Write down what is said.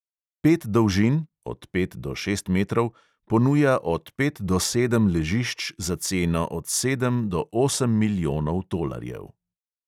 Pet dolžin (od pet do šest metrov) ponuja od pet do sedem ležišč za ceno od sedem do osem milijonov tolarjev.